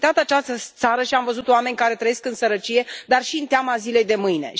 Am vizitat această țară și am văzut oameni care trăiesc în sărăcie, dar și cu teama zilei de mâine.